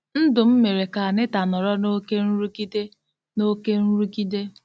Ndụ m mere ka Anita nọrọ n'oké nrụgide. n'oké nrụgide.